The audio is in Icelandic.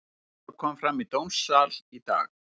Þetta kom fram í dómssal í dag.